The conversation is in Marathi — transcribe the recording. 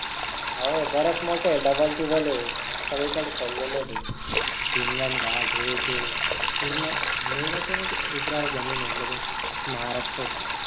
अहो बरेच मोठे double टिबल आहे सगळीकडे फिरलेलं आहे ते हिंगणघाट हे ते पूर्ण main आहे ना ते उपरा धनी म्हटलं तर महाराष्ट्राची